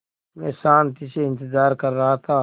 मैं शान्ति से इंतज़ार कर रहा था